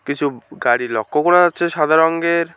কিছু উম গাড়ি লক্ষ্য করা যাচ্ছে সাদা রঙ্গের ।